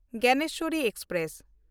Gyaneshwari express